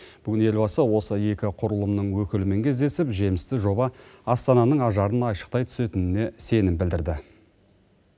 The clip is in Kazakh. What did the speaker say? бүгін елбасы осы екі құрылымның өкілімен кездесіп жемісті жоба астананың ажарын айшықтай түсетініне сенім білдірді